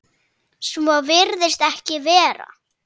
Svo virðist ekki vera.